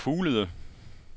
Store Fuglede